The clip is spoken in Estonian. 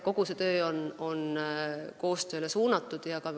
Kogu see töö on koostööle suunatud.